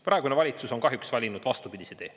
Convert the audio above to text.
Praegune valitsus on kahjuks valinud vastupidise tee.